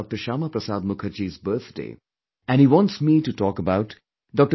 Shyama Prasad Mukherjee's birthday and he wants me to talk about Dr